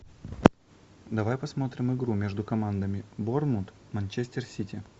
давай посмотрим игру между командами борнмут манчестер сити